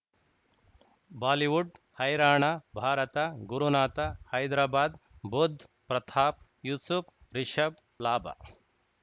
Bollywood ಹೈರಾಣ ಭಾರತ ಗುರುನಾಥ ಹೈದರಾಬಾದ್ ಬುಧ್ ಪ್ರತಾಪ್ ಯೂಸುಫ್ ರಿಷಬ್ ಲಾಭ